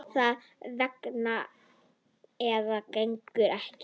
Það gengur eða gengur ekki.